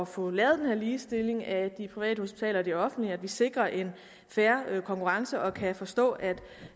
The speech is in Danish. få lavet den her ligestilling af de private hospitaler og de offentlige så vi sikrer en fair konkurrence og jeg kan forstå at